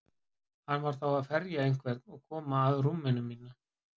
Hann var þá að ferja einhvern og kom að rúminu mínu.